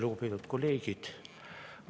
Lugupeetud kolleegid!